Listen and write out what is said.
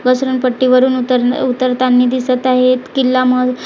पसरून पट्टीवरून उतर उतरतानी दिसत आहेत किल्ला मग--